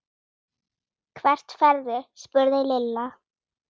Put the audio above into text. Hvert ferðu? spurði Lilla.